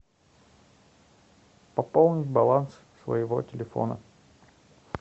пополнить баланс своего телефона